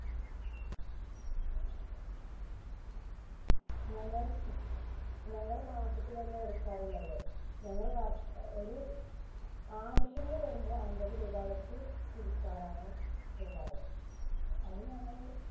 ഞങ്ങൾ ഞങ്ങള് മാസത്തിലല്ല എടുക്കാറുള്ളത്. ഞങ്ങള് വർഷ അഹ് ഒരു ആവശ്യങ്ങള് വരുമ്പോൾ അമ്പതുരൂപവെച്ച് പിരിക്കാറാണ് ചെയ്യാറ്. അത് ഞങ്ങള്